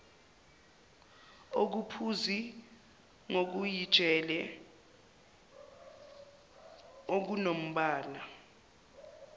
okuphuzi ngokujiyile okunombala